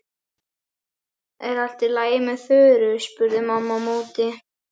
Er allt í lagi með Þuru? spurði mamma á móti.